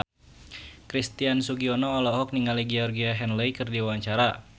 Christian Sugiono olohok ningali Georgie Henley keur diwawancara